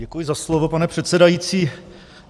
Děkuji za slovo, pane předsedající.